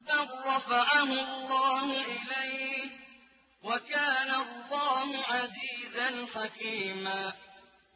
بَل رَّفَعَهُ اللَّهُ إِلَيْهِ ۚ وَكَانَ اللَّهُ عَزِيزًا حَكِيمًا